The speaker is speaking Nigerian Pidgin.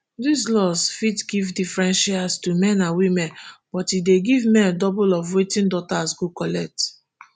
dis laws fit give different shares to men and women but e dey give male double of wetin daughters go collect